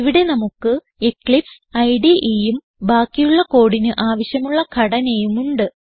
ഇവിടെ നമുക്ക് എക്ലിപ്സ് ഇടെ ഉം ബാക്കിയുള്ള കോഡിന് ആവശ്യമുള്ള ഘടനയും ഉണ്ട്